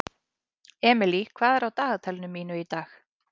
Emely, hvað er á dagatalinu mínu í dag?